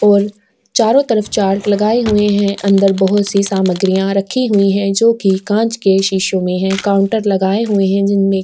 और चारो तरफ चार्ट लगाए हुए हैं अंदर बहुत सी सामग्रियां रखी हुई है जो की कांच के शीशो में है कांउटर लगाए हुए है जिनमे --